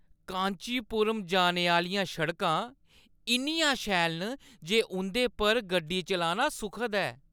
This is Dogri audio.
कांचीपुरम जाने आह्‌लियां सड़कां इन्नियां शैल न जे उंʼदे पर गड्डी चलाना सुखद ऐ।